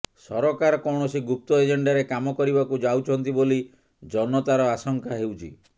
ସରକାର କୌଣସି ଗୁପ୍ତ ଏଜେଣ୍ଡାରେ କାମ କରିବାକୁ ଯାଉଛନ୍ତି ବୋଲି ଜନତାର ଆଶଙ୍କା ହେଉଛି